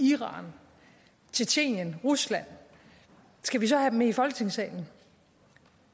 iran tjetjenien rusland skal vi så have dem i folketingssalen